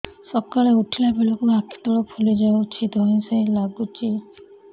ସକାଳେ ଉଠିଲା ବେଳକୁ ଆଖି ତଳ ଫୁଲି ଯାଉଛି ଧଇଁ ସଇଁ ଲାଗୁଚି